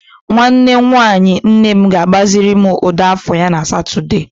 Nwanne nwanyi nne m ga-agbaziri m ụdọ afọ ya na Satọde.